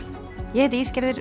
ég heiti